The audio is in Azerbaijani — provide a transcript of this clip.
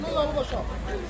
Yolu boş qoy keçsin.